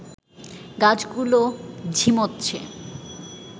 গাছগুলোও ঝিমোচ্ছে